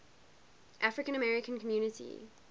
african american community